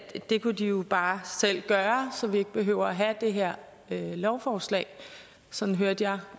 det kunne de jo bare selv gøre så vi ikke behøver have det her lovforslag sådan hørte jeg